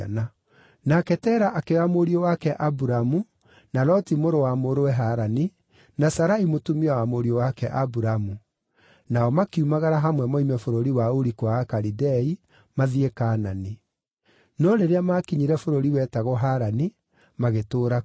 Nake Tera akĩoya mũriũ wake Aburamu, na Loti mũrũ wa mũrũwe Harani, na Sarai mũtumia wa mũriũ wake Aburamu; nao makiumagara hamwe moime bũrũri wa Uri-kwa-Akalidei mathiĩ Kaanani. No rĩrĩa maakinyire bũrũri wetagwo Harani, magĩtũũra kuo.